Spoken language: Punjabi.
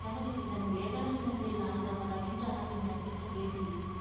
ਕਹਿੰਦਾ ਕਿਸੇ ਨੇ ਤੈਨੂੰ ਵੇਚ ਦੇਣਾ ਕਿਸੇ ਨੂੰ ਤੇਰੀ ਲਾਸ਼ ਦਾ ਪਤਾ ਵੀ ਨੀ ਚੱਲਣਾ ਮੈਂ ਕਿੱਥੇ ਗਈ ਸੀਗੀ।